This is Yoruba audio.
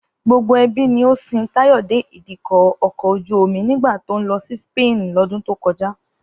Gbogbo ẹbí ni ó sin Táyọ̀ dé Ìdíkọ̀ ọkọ̀ ojú-omi nígbà tó ń lọ sí Spain lọ́dún tó kọjá